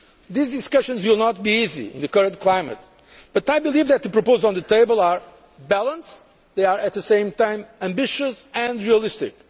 These discussions will not be easy in the current climate, but I believe that the proposals on the table are balanced and at the same time ambitious and realistic.